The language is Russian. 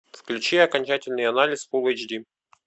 включи окончательный анализ фул эйч ди